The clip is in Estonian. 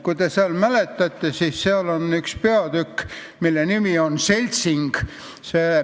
Võib-olla mäletate, seal on mõni peatükk, milles räägitakse seltsingust.